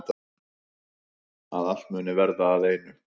Að allt muni verða að einu.